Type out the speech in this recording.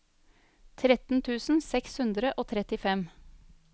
tretten tusen seks hundre og trettifem